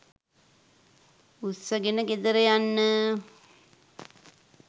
උස්සගෙන ගෙදර යන්න